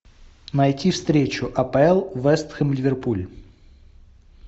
найти встречу апл вест хэм ливерпуль